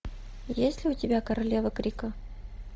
есть ли у тебя королева крика